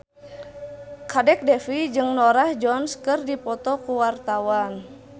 Kadek Devi jeung Norah Jones keur dipoto ku wartawan